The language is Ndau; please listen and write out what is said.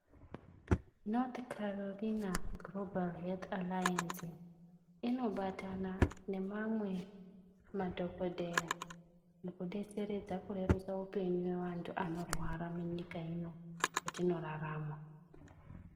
Kune amweni masangano anobatana nemamwe madhokodheya mukudetseredza kurerusa upenyu hweantu anorwara munyika ino yetinogara..